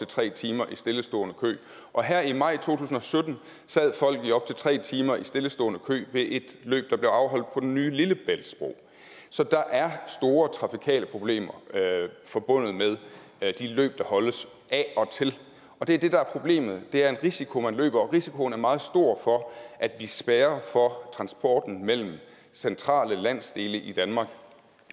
tre timer i stillestående kø og her i maj to tusind og sytten sad folk i op til tre timer i stillestående kø ved et løb der blev afholdt på den nye lillebæltsbro så der er store trafikale problemer forbundet med de løb der holdes og det er det der er problemet det er en risiko man løber og risikoen er meget stor for at vi spærrer for transporten mellem centrale landsdele i danmark